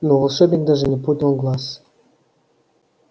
но волшебник даже не поднял глаз